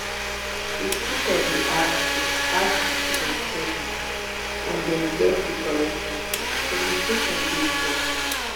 if teacher de teach ask di ask di students questions and dem get di correct answer di communication de effective